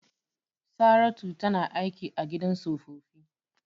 Saratu tana aiki a gidan tsofaffi.